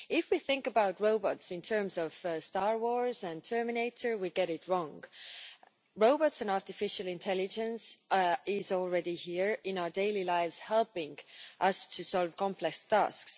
If we think about robots in terms of Star Wars and Terminator we get it wrong. Robots and artificial intelligence are already here in our daily lives, helping us to solve complex tasks.